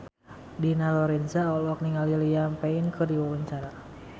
Dina Lorenza olohok ningali Liam Payne keur diwawancara